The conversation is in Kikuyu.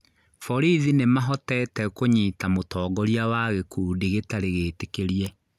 Borithi nĩ mahotete kũnyita mũtongoria wa gĩkundi gĩtarĩ gĩtĩkĩrie